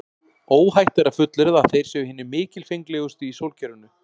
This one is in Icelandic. Óhætt er að fullyrða að þeir séu hinir mikilfenglegustu í sólkerfinu.